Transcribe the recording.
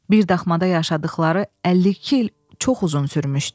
Bir daxmada yaşadıqları 52 il çox uzun sürmüşdü.